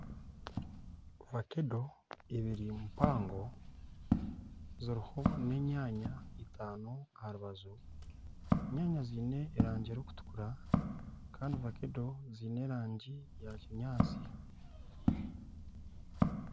Vakedo eibiri mpango ziriho na enyaanya itaano aha rubaju , enyaanya ziine erangi erikutukura Kandi vakedo ziine erangi ya kinyaatsi.